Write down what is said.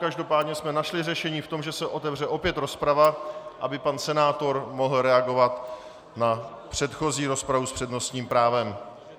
Každopádně jsme našli řešení v tom, že se otevře opět rozprava, aby pan senátor mohl reagovat na předchozí rozpravu s přednostním právem.